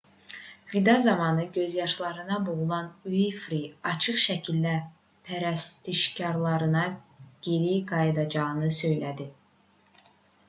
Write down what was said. vida zamanı gözyaşlarına boğulan uinfri açıq şəkildə pərəstişkarlarına geri qayıdacağını söylədi